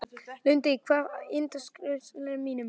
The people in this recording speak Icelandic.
Lundi, hvað er á innkaupalistanum mínum?